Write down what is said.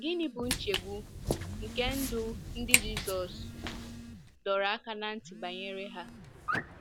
Gịnị bụ nchegbu nke ndụ ndị Jizọs dọrọ aka ná ntị banyere ha?